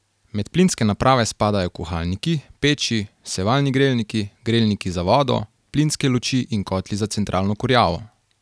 Med plinske naprave spadajo kuhalniki, peči, sevalni grelniki, grelniki za vodo, plinske luči in kotli za centralno kurjavo.